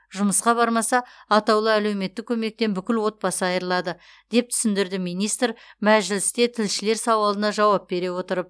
жұмысқа бармаса атаулы әлеуметтік көмектен бүкіл отбасы айырылады деп түсіндірді министр мәжілісте тілшілер сауалына жауап бере отырып